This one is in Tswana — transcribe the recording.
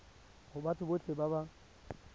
go batho botlhe ba ba